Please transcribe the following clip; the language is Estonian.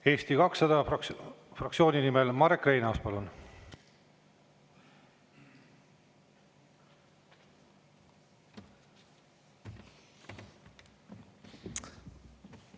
Eesti 200 fraktsiooni nimel Marek Reinaas, palun!